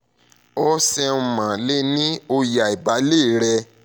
o ṣeunmo le ni oye aibalẹ rẹ